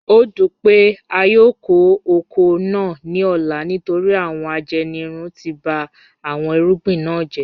O dun pe a yoo ko oko naa ni ọla nitori awọn ajenirun ti ba awọn irugbin na jẹ